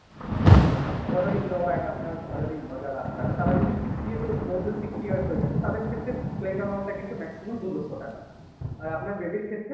father in law and আপনার mother in law যারা তাঁরা, তাঁরা যদি Sixty eight ও More than sixty years হয়ে গেছে তাদের ক্ষেত্রে claim amount টা কিন্তু maximum দু লক্ষ টাকা আর আপনার baby র ক্ষেত্রে